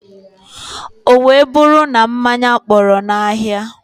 O wee buru na mmanya kpọrọ na ahia.